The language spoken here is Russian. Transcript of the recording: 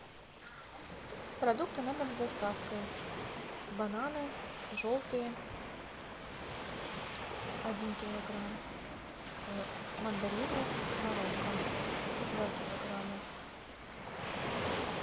продукты на дом с доставкой бананы желтые один килограмм мандарины марокко два килограмма